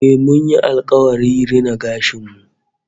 Eh, mun yi alkawari rina gashin mu